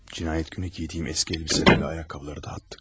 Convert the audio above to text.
Cinayət günü geydiyim əski əlbisələri, ayaqqabıları da atdım.